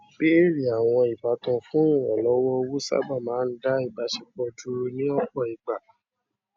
béèrè àwọn ìbátan fún ìrànlọwọ owó sábà máa ń dá ìbáṣepọ dúrú ní ọpọ ìgbà